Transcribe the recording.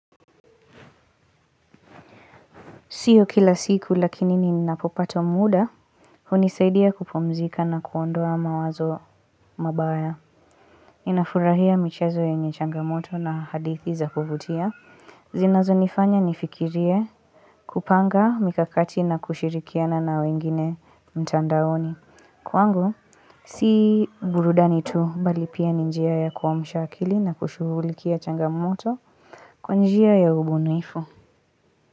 Sio kila siku lakini ninapopata muda, hunisaidia kupumzika na kuondoa mawazo mabaya. Nina furahia michezo yenye changamoto na hadithi za kuvutia. Zinazo nifanya nifikirie kupanga mikakati na kushirikiana na wengine mtandaoni. Kwangu, si burudani tu, bali pia ni njia ya kuamsha akili na kushughulikia changamoto kwa njia ya ubunuifu.